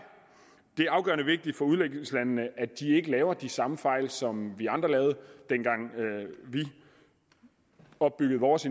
det er afgørende vigtigt for udviklingslandene at de ikke begår de samme fejl som vi andre lavede dengang vi opbyggede vores